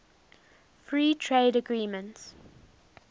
free trade agreements